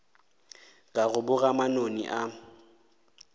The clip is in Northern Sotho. ka go boga manoni a